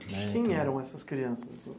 Quem eram essas crianças?